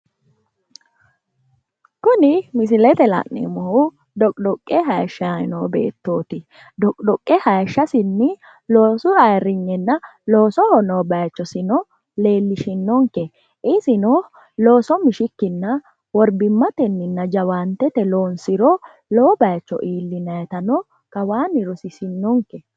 Kuni misilete la'neemohu xoqqixoqqe haayishayi no beettooti. Xoqqixoqqe hayiishasinni loosu ayiiriynena loosoho noo bayiichosino lellishinonke isino looso mishikkinna worbimatenninna jawaantete loonsiro lowo baayiicho iillinayitano kawaanni rosisinnonke.